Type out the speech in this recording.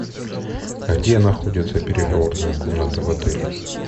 где находится переговорная комната в отеле